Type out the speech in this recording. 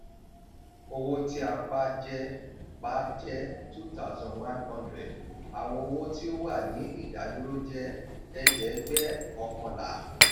owó tí a pa jẹ́ pa jẹ́ two thousand one hundred àwọn owó tí ó wà ní ìdádúró jẹ́ ẹ̀ẹ́dẹ́gbẹ́ọ̀kánlá.